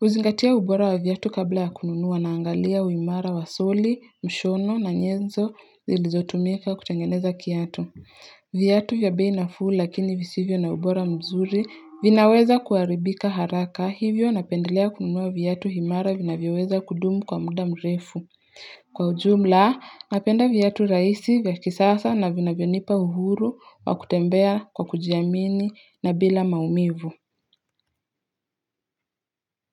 huzingatia ubora wa viatu kabla ya kununua na angalia uimara wa soli, mshono na nyenzo zilizotumika kutengeneza kiatu. Viatu vya bei nafuu lakini visivyo na ubora mzuri vinaweza kuharibika haraka hivyo napendelea kununua viatu himara vinavyoweza kudumu kwa muda mrefu. Kwa ujumla napenda viatu rahisi vya kisasa na vinavyonipa uhuru wa kutembea kwa kujiamini na bila maumivu.